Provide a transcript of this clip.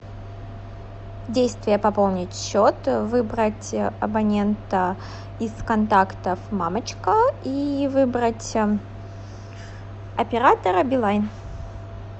действие пополнить счет выбрать абонента из контактов мамочка и выбрать оператора билайн